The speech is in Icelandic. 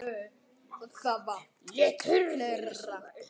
Og það var fleira.